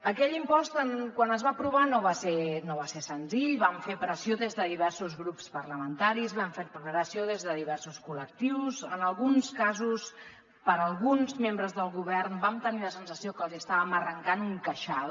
aquell impost quan es va aprovar no va ser senzill i van fer pressió des de diversos grups parlamentaris van fer pressió des de diversos col·lectius en alguns casos per alguns membres del govern vam tenir la sensació que els estàvem arrencant un queixal